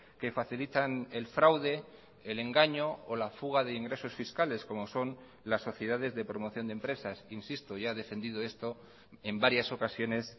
que facilitan el fraude el engaño o la fuga de ingresos fiscales como son las sociedades de promoción de empresas insisto ya he defendido esto en varias ocasiones